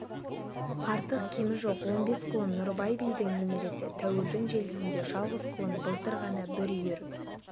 артық-кемі жоқ он бес құлын нұрыбай бидің немересі тәуірдің желісінде жалғыз құлын былтыр ғана бір үйір